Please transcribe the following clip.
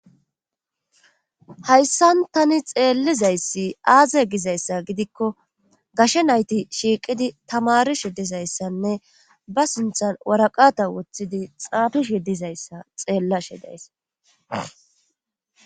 hayssan tani xeellizayssi aaze gizayssa gidikko gashe nayti shiiqidi tamarishe dizayssanne ba sinthan waraqata woththidi xaafish ye dizayssa xeellashe deys